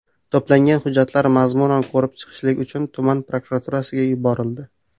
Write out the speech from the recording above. To‘plangan hujjatlar mazmunan ko‘rib chiqishlik uchun tuman prokuraturasiga yuborildi.